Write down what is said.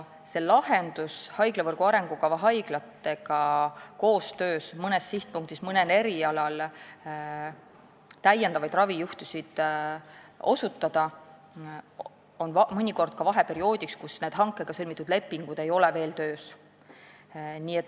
Mõnes sihtpunktis toimub mõnel erialal ravijuhtude lahendamine haiglavõrgu arengukava haiglatega koostöös ka vaheperioodil, kui hanke käigus sõlmitud lepingud ei ole veel töös.